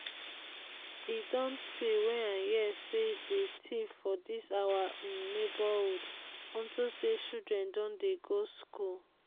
e don tey wey i hear say dey thief for dis our um neighborhood unto say children don dey go school